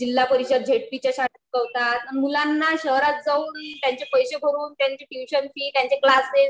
जिल्हा परिषद झेडपीच्या शाळेत शिकवतात मुलांना शहरात जाऊन त्यांचे पैसे भरून त्यांची ट्यूशन फी, त्यांचे क्लासेस